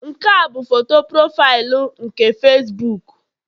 Nke a bụ foto profaịlụ nke Facibuku